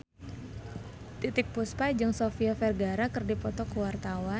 Titiek Puspa jeung Sofia Vergara keur dipoto ku wartawan